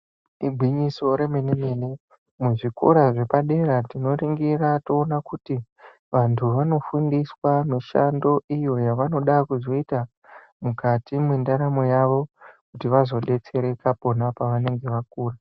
Igwinyiso remene-mene, muzvikora zvepadera tinoringira toona kuti vantu vanofundiswa mishando iyo yavanoda kuzoita mukati mwendaramo yavo kuti vazodetsereka pona pavanenge vakura.